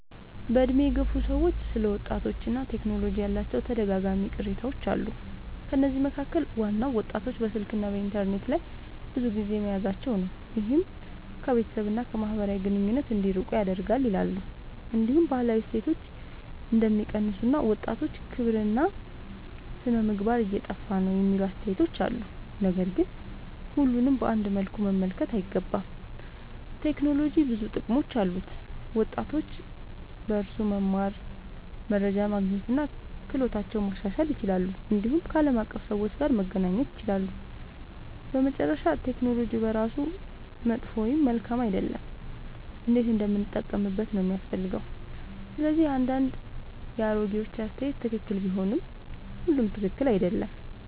በዕድሜ የገፉ ሰዎች ስለ ወጣቶችና ቴክኖሎጂ ያላቸው ተደጋጋሚ ቅሬታዎች አሉ። ከነዚህ መካከል ዋናው ወጣቶች በስልክና በኢንተርኔት ላይ ብዙ ጊዜ መያዛቸው ነው፤ ይህም ከቤተሰብ እና ከማህበራዊ ግንኙነት እንዲርቁ ያደርጋል ይላሉ። እንዲሁም ባህላዊ እሴቶች እንደሚቀንሱ እና ወጣቶች ክብርና ሥነ-ምግባር እየጠፋ ነው የሚሉ አስተያየቶች አሉ። ነገር ግን ሁሉንም በአንድ መልኩ መመልከት አይገባም። ቴክኖሎጂ ብዙ ጥቅሞች አሉት፤ ወጣቶች በእርሱ መማር፣ መረጃ ማግኘት እና ክህሎታቸውን ማሻሻል ይችላሉ። እንዲሁም ከዓለም አቀፍ ሰዎች ጋር መገናኘት ይችላሉ። በመጨረሻ ቴክኖሎጂ በራሱ መጥፎ ወይም መልካም አይደለም፤ እንዴት እንደምንጠቀምበት ነው የሚያስፈልገው። ስለዚህ አንዳንድ የአሮጌዎች አስተያየት ትክክል ቢሆንም ሁሉም ትክክል አይደለም።